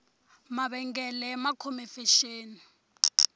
mavengele ma khome fexeni